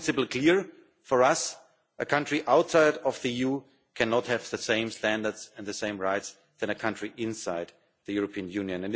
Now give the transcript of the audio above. like. One principle is clear for us a country outside the EU cannot have the same standards and the same rights as a country inside the European Union.